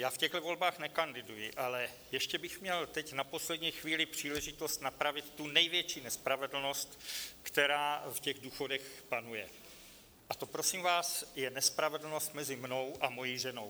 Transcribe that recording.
Já v těchto volbách nekanduji, ale ještě bych měl teď na poslední chvíli příležitost napravit tu největší nespravedlnost, která v těch důchodech panuje, a to, prosím vás, je nespravedlnost mezi mnou a mojí ženou.